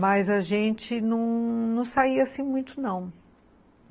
Mas a gente não saía assim muito, não.